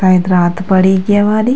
पैत्र रात पड़ी ग्ये वली।